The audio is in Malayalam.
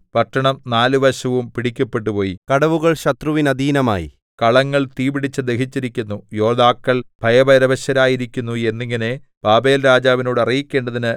പട്ടണം നാലുവശവും പിടിക്കപ്പെട്ടുപോയി കടവുകൾ ശത്രുവിനധീനമായി കളങ്ങൾ തീ പിടിച്ച് ദഹിച്ചിരിക്കുന്നു യോദ്ധാക്കൾ ഭയപരവശരായിരിക്കുന്നു എന്നിങ്ങനെ ബാബേൽരാജാവിനോട് അറിയിക്കേണ്ടതിന്